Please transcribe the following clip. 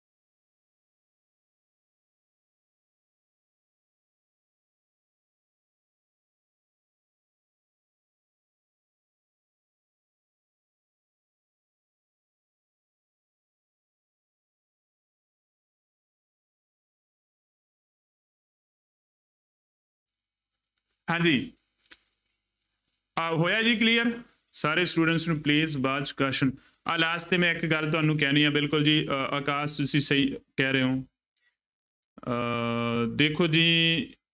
ਹਾਂਜੀ ਆਹ ਹੋਇਆ ਜੀ clear ਸਾਰੇ students ਨੂੰ please ਆਹ last ਤੇ ਮੈਂ ਇੱਕ ਗੱਲ ਤੁਹਾਨੂੰ ਕਹਿਣੀ ਹੈ ਬਿਲਕੁਲ ਜੀ ਅਹ ਅਕਾਸ ਤੁਸੀਂ ਸਹੀ ਕਹਿ ਰਹੇ ਹੋ ਅਹ ਦੇਖੋ ਜੀ